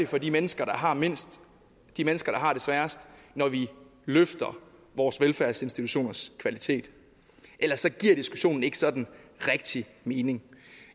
for de mennesker der har mindst de mennesker der har det sværest når vi løfter vores velfærdsinstitutioners kvalitet ellers giver diskussionen ikke sådan rigtig mening